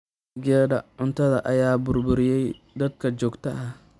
Dalagyadii cuntada ayaa burburiyay daadad joogta ah.